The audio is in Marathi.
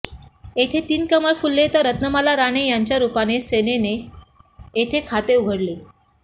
येथे तीन कमळ फुलले तर रत्नमाला राणे यांच्या रूपाने सेनेने येथे खाते उघडले